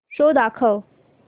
show दाखव